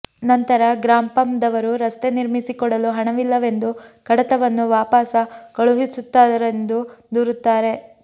ನಂತರ ಗ್ರಾಪಂ ದವರು ರಸ್ತೆ ನಿರ್ಮಿಸಿಕೊಡಲು ಹಣವಿಲ್ಲವೆಂದು ಕಡತವನ್ನು ವಾಪಸ ಕಳುಹಿಸುತತ್ತಾರೆಂದು ದೂರುತ್ತಾರೆ